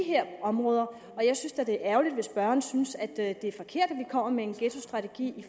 her områder jeg synes da det er ærgerligt hvis spørgeren synes at det er forkert at vi kommer med en ghettostrategi